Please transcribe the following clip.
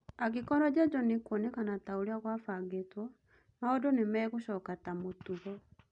Angĩkorwo Njanjo nĩĩkuonekana taũria gwafangĩtwo, maũndu nĩmagacoka ta mũtugo.